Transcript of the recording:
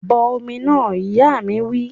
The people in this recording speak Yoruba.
Bọ omi náà! Ìyá mi wí